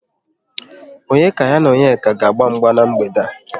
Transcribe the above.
Onye ka ya na Ebuka ga-agba mgba n'mgbede a?